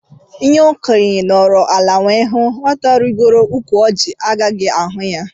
Ihé okénye nọrọ ala wee hụ, nwata rigoo ụkwụ Orji ọ gaghị ahụ ya.